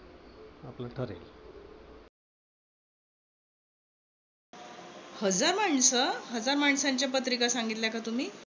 हजार माणस, हजार माणसांच्या पत्रिका सांगितल्या का तुम्ही?